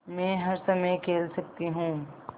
मै हर समय खेल सकती हूँ